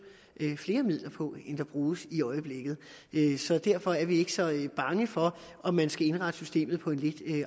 flere midler på end der bruges i øjeblikket så derfor er vi ikke så bange for om man skal indrette systemet på en lidt